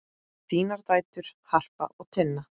Þínar dætur, Harpa og Tinna.